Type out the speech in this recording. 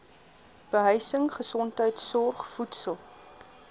behuising gesondheidsorg voedsel